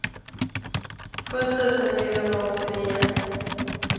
sju tusen niohundraåttionio